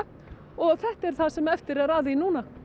og þetta er það sem eftir er af því núna